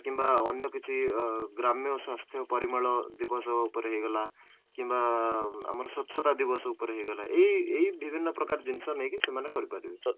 କିମ୍ବା ଅନ୍ୟ କିଛି ଗ୍ରାମ୍ୟ ସ୍ୱାସ୍ଥ୍ୟ ପରିମଳ ଦିବସ ଉପରେ ହେଇଗଲା କିମ୍ବା ଆମର ସ୍ୱଚ୍ଛତା ଉପରେ ହେଇଗଲା ଏଇ ଏଇ ବିଭିନ୍ନ ପ୍ରକାର ଜିନିଷ ନେଇକି ସେମାନେ କରିପାରୁଛନ୍ତି